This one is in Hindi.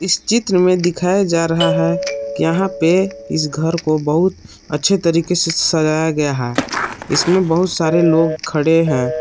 चित्र मे दिखाया जा रहा है कि यहा पे इस घर को बहुत अच्छे तरीके से सजाया गया है इसमे बहुत सारे लोग खड़े है।